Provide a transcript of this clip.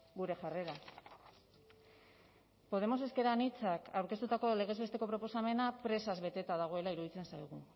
gure jarrera podemos ezker anitzak aurkeztutako legez besteko proposamena presaz beteta dagoela iruditzen zaigu